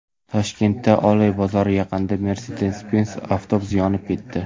Toshkentda Oloy bozori yaqinida Mercedes-Benz avtobusi yonib ketdi .